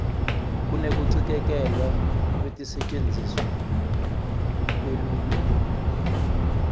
kunekucikelelwa kwekusetjentiswa kwelulwimi